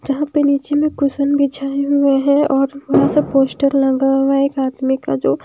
जहां पे नीचे में कुशन बिछाए हुआ हैं और बड़ा सा पोस्टर लगा हुआ एक आदमी का जो--